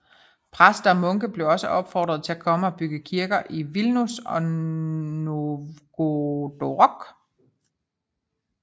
Præster og munke blev også opfordret til at komme og bygge kirker i Vilnius og Novgorodok